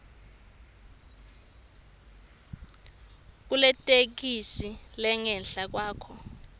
kuletheksthi lengenhla khokha